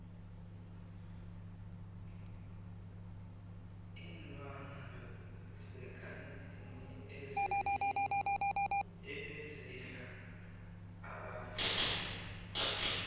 iinlwana zekadeni ebezidla abantu